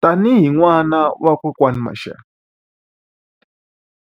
Tanihi n'wana wa kokwani Mashele,